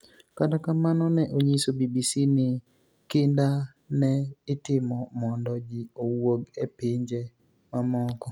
Kata kamano, ni e oniyiso BBC nii kinida ni e itimo monido ji owuog e pinije mamoko.